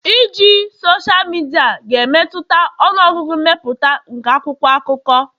iji sosal midia ga-emetụta ọnụ ọgụgụ mmepụta nke akwụkwọ akụkọ